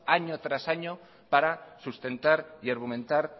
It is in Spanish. año tras año para sustentar y argumentar